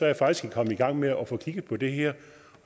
jeg faktisk kommet i gang med at få kigget på det her